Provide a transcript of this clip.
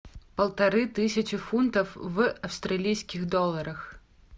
полторы тысячи фунтов в австралийских долларах